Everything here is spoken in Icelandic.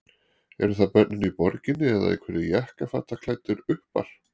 Eru það börnin í borginni eða einhverjir jakkafataklæddir uppar?